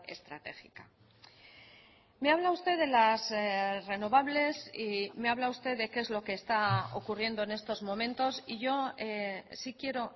estratégica me habla usted de las renovables y me habla usted de qué es lo que está ocurriendo en estos momentos y yo sí quiero